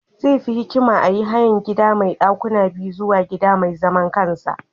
Zai fi hikima a yi hayan gida mai dakuna biyu zuwa gida mai zaman kansa.